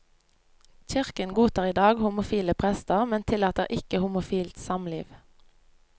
Kirken godtar i dag homofile prester, men tillater ikke homofilt samliv.